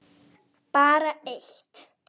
Bara eitt